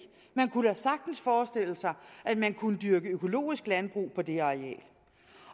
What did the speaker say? man kunne da sagtens forestille sig at man kunne dyrke økologisk landbrug på det areal